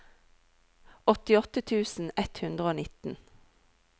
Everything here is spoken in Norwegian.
åttiåtte tusen ett hundre og nitten